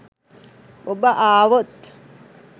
ඔබ ආවොත්